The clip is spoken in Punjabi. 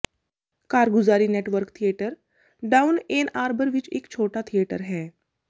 ਕਾਰਗੁਜ਼ਾਰੀ network theatre down Ann Arbor ਵਿੱਚ ਇੱਕ ਛੋਟਾ ਥੀਏਟਰ ਹੈ